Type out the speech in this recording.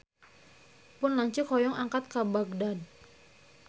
Pun lanceuk hoyong angkat ka Bagdad